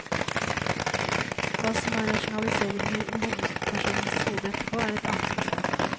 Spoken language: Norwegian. Hva som er rasjonaliseringer i hovedpersonens hode etterpå, er et annet spørsmål.